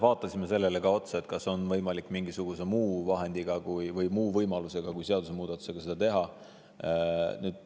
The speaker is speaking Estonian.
Vaatasime ka seda, kas on võimalik mingisugusel muul viisil kui seadusemuudatusega seda teha.